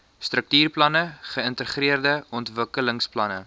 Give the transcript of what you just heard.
struktuurplanne geïntegreerde ontwikkelingsplanne